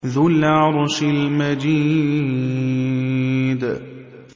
ذُو الْعَرْشِ الْمَجِيدُ